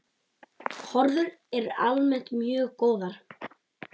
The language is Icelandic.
Horfur eru almennt mjög góðar.